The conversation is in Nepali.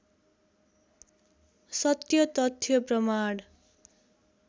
सत्य तथ्य प्रमाण